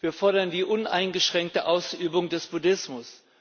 Wir fordern die uneingeschränkte Ausübung des Buddhismus.